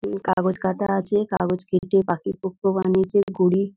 উম কাগজ কাটা আছে | কাগজ কেটে পাখি-পক্ষ বানিয়েছে ঘুড়ি --